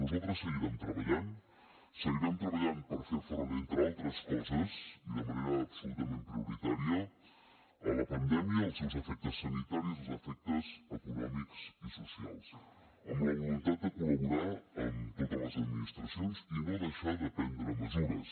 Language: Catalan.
nosaltres seguirem treballant seguirem treballant per fer front entre altres coses i de manera absolutament prioritària a la pandèmia i als seus efectes sanitaris als efectes econòmics i socials amb la voluntat de col·laborar amb totes les administracions i no deixar de prendre mesures